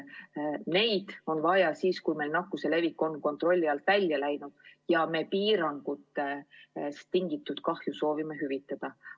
Neid on vaja siis, kui nakkuse levik on kontrolli alt välja läinud ja me soovime piirangutest tingitud kahju hüvitada.